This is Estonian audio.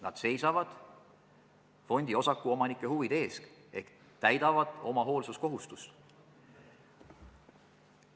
Nad seisavad fondiosaku omanike huvide eest ehk täidavad oma hoolsuskohustust.